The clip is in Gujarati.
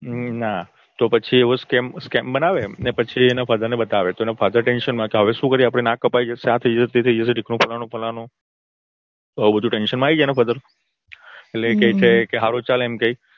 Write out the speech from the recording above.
હમ ના. તો પછી એવો scem બનાવે. અને પછી એના father ને બતાવે તો એના father tension માં કે હવે શું કરીએ આપડું નાક કપાઈ જશે આ થઇ જશે તે થઇ જશે ઢીકણું થઇ જશે ફલાણું આ બધું tension માં આવી જાય એના father. એટલે કે સારું ચાલ કઈ